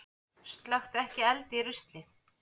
Slökktu ekki eld í rusli